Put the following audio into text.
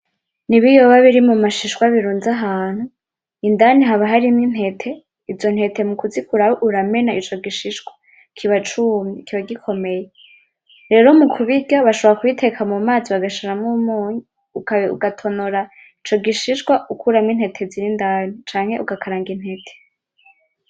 N'ibiyoba biri mubishishwa birunze ahantu indani haba harimwo intete izo ntete mukuzikuramwo uramena ico gishishwa kiba cumye kiba gikomeye rero mukubirya bashobora kubiteka mumazi bagashirwo umunyu ugatonora ico gishishwa ukuramwo intete ziri indani canke ugakaranga intete